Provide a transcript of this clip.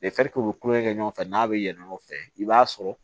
u bɛ kulonkɛ kɛ ɲɔgɔn fɛ n'a bɛ yɛlɛn o fɛ i b'a sɔrɔ